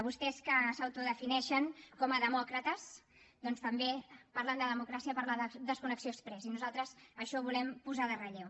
vostès que s’autodefineixen com a demòcrates doncs també parlen de democràcia per a la desconnexió exprés i nosaltres això ho volem posar en relleu